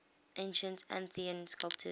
ancient athenian sculptors